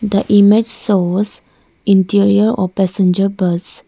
the image shows interior of passenger bus.